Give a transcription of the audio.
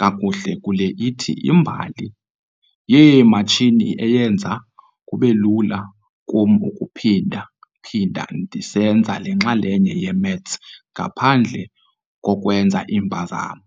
kakuhle kule ithi "imbali yeematshini eyenza kube lula kum ukuphinda-phinda ndisenza lengxaki ye-maths ngaphandle kokwenza iimpazamo."